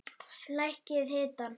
Lækkið hitann.